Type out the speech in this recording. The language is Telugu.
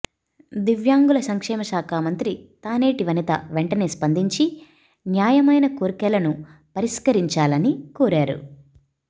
దివ్యాంగుల సంక్షేమ శాఖ మంత్రి తానేటి వనిత వెంటనే స్పందించి న్యాయమైన కోర్కెలను పరిష్కరించాలని కోరారు